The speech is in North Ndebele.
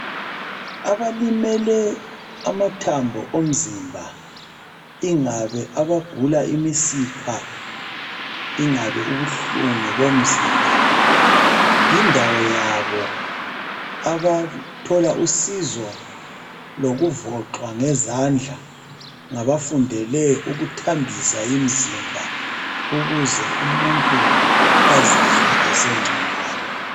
Abalimele amathambo omzimba ingabe abagula imisipha, ingabe ubuhlungu bomzimba yindawo yabo abathola usizo lokuvoxwa ngezandla ngabafundele ukuthambisa imzimba. Ukuze umuntu azizwe esengconywana.